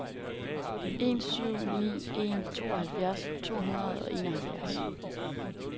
en syv ni en tooghalvtreds to hundrede og enoghalvfjerds